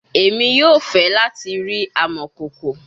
Emi yoo fẹ lati ri amọkoko